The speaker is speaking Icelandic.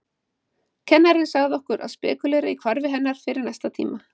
Kennarinn sagði okkur að spekúlera í hvarfi hennar fyrir næsta tíma.